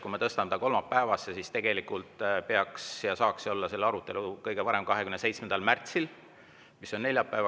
Kui me tõstame ta kolmapäevale, siis saaks selle arutelu olla kõige varem 27. märtsil, mis on neljapäev.